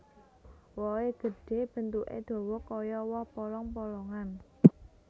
Wohé gedhé bentuké dawa kaya woh polong polongan